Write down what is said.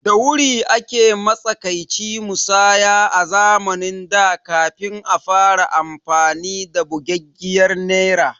Da Wuri ake matsakaici musaya a zamanin da kafin a fara amfani da bugaggiyar Naira